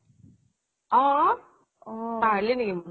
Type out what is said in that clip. অঅ অ্